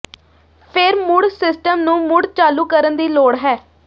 ਫਿਰ ਮੁੜ ਸਿਸਟਮ ਨੂੰ ਮੁੜ ਚਾਲੂ ਕਰਨ ਦੀ ਲੋੜ ਹੈ